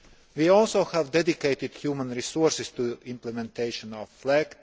We have also dedicated human resources to the implementation of